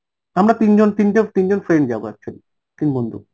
আমরা তিনজন, তিন~ তিনজন friend যাবো actually তিন বন্ধু